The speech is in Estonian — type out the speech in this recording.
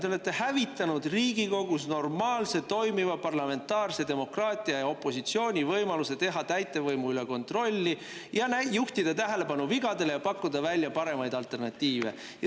Te olete hävitanud Riigikogus normaalse toimiva parlamentaarse demokraatia ja opositsiooni võimaluse täitevvõimu kontrollida, juhtida tähelepanu vigadele ja pakkuda välja paremaid alternatiive.